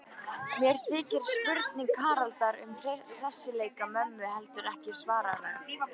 Mér þykir spurning Haraldar um hressileika mömmu heldur ekki svaraverð.